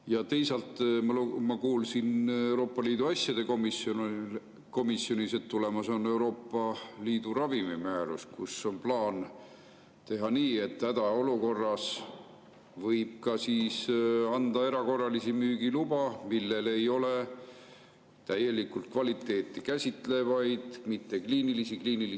Ja teisalt ma kuulsin Euroopa Liidu asjade komisjonis, et tulemas on Euroopa Liidu ravimimäärus, kus on plaan teha nii, et hädaolukorras võib anda erakorralisi müügilubasid, mille puhul ei ole täielikult kvaliteeti käsitlevaid kliinilisi lisaandmeid.